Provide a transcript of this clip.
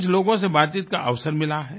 कुछ लोगों से बातचीत करने का अवसर मिला है